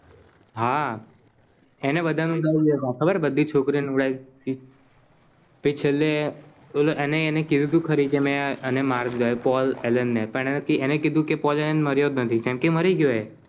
હા એને બધા નું બોવ લેતા ખબર બધી છોકરીઓ ને ઉડાઈ દીધી છેલે અને એને ને માર દીધો Paul Allen ને પણ એને કીધું કે Paul Allen મરિયો જ નથી કેમ કે મરી ગયો એ